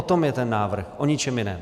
O tom je ten návrh, o ničem jiném.